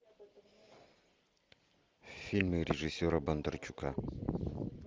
фильмы режиссера бондарчука